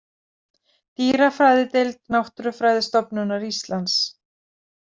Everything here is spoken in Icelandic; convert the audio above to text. Dýrafræðideild Náttúrurufræðistofnunar Íslands.